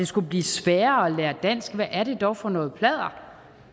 skulle blive sværere at lære dansk hvad er det dog for noget pladder